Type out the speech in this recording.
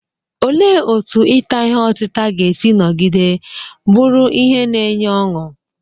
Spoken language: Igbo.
Olee otú ita ihe otita ga-esi nọgide bụrụ ihe na-enye ọṅụ?